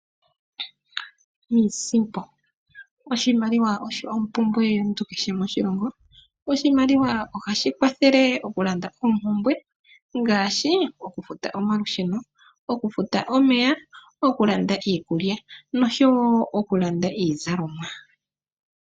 Iisimpo, oshimaliwa osho ompumbwe yomuntu kehe moshilongo. Oshimaliwa ohashi kwathele okulanda oompumbwe ngaashi; okufuta omalusheno, okufuta omeya, okulanda iikulya noshowo okulanda iizalomwa.